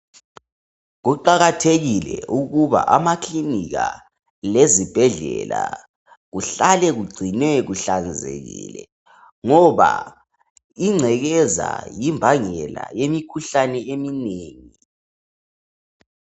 Kuqakathekile ukuthi amakilinika lezibhedlela kuhlale kugcinwe kuhlanzekile ngoba ingcekeza yimbangela yemikhuhlane eminengi .